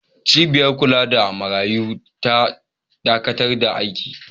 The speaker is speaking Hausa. Cibiyar kula da marayu ta dakatar da aiki.